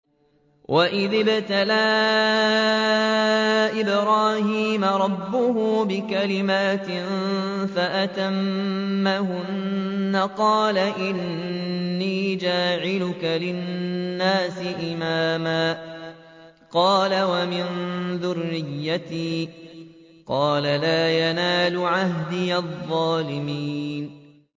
۞ وَإِذِ ابْتَلَىٰ إِبْرَاهِيمَ رَبُّهُ بِكَلِمَاتٍ فَأَتَمَّهُنَّ ۖ قَالَ إِنِّي جَاعِلُكَ لِلنَّاسِ إِمَامًا ۖ قَالَ وَمِن ذُرِّيَّتِي ۖ قَالَ لَا يَنَالُ عَهْدِي الظَّالِمِينَ